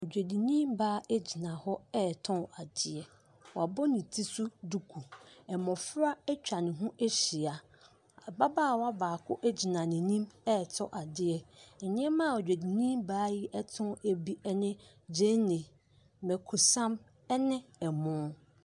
Dwadini baa gyina hɔ retɔ adeɛ. Wabɔ ne ti so duku. Mmɔfra atwa ne ho ahyia. Ababaawa baako gyina n'anim retɔ adeɛ. Nneɛma a dwadini baa yi tɔn bi ne, gyeene, mmako sam ne ɛmo.